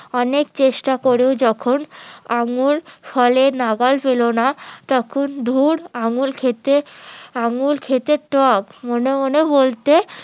অনেক চেষ্টা করেও যখন আঙ্গুর ফলে নাগাল পেলো না তখন ধুর আঙ্গুর খেতে আঙ্গুর খেতে টক মনে মনে বলতে